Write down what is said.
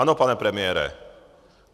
Ano, pane premiére.